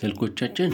ስልኮቻችን